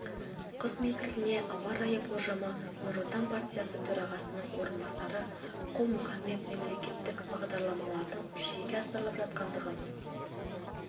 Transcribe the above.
қыс мезгіліне ауа райы болжамы нұр отан партиясы төрағасының орынбасары құл-мұхаммед мемлекеттік бағдарламалардың жүзеге асырылып жатқандығын